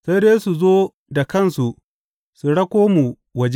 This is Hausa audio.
Sai dai su zo da kansu su rako mu waje.